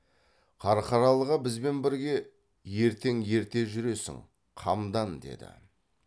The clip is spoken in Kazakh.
қарқаралыға бізбен бірге ертең ерте жүресің қамдан деді